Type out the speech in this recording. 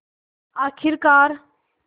आख़िरकार